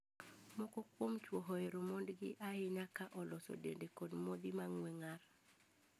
Moko kuom chwo ohero mondegi ahinya ka oloso dende kod modhi mang'ue ng'ar.